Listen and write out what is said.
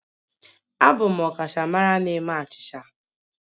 Abụ m ọkachamara na-eme achịcha